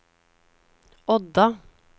Odda